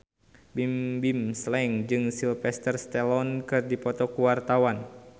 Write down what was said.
Bimbim Slank jeung Sylvester Stallone keur dipoto ku wartawan